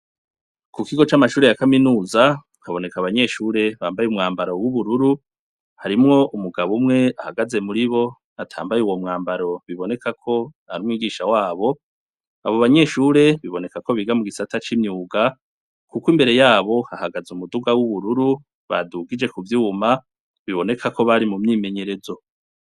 Mu kigo c'amashuri ya kaminuza haboneka abanyeshure bambaye umwambaro w'ubururu harimwo umugabo umwe ahagaze muri bo atambaye uwo mwambaro biboneka ko amwigisha wabo abo banyeshure biboneka ko biga mu gisata c'imyuga kuko imbere yabo ahagaze umuduga w'ubururu badugije ku byuwuma biboneka ko bari mu myimenyerezo.